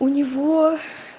у него